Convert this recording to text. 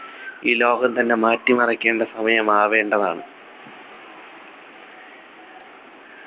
ഈ ലോകം തന്നെ മാറ്റിമറിക്കേണ്ട സമയമാവേണ്ടതാണ്